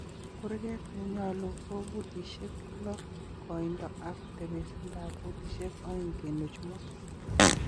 kurget nenyolu ko futisiek lo koindo ak tebesindab futisiek 2.5